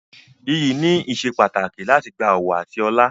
Iyì ni ìsepàtàkì láti gba ọ̀wọ̀ àti ọlá.